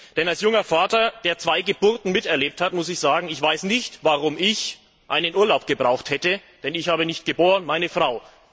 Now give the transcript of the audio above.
Denn als junger Vater, der zwei Geburten miterlebt hat, muss ich sagen, ich weiß nicht, warum ich einen Urlaub gebraucht hätte, denn ich habe nicht geboren, sondern meine Frau.